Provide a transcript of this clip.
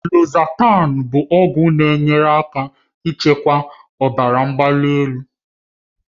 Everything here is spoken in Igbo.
Losatan bụ ọgwụ na-enyere aka ịchịkwa ọbara mgbali.